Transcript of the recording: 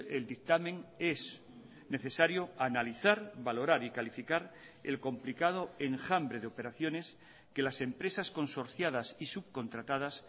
el dictamen es necesario analizar valorar y calificar el complicado enjambre de operaciones que las empresas consorciadas y subcontratadas